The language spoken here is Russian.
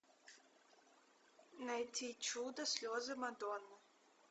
найти чудо слезы мадонны